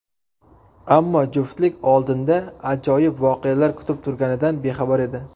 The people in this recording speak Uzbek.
Ammo juftlik oldinda ajoyib voqealar kutib turganidan bexabar edi.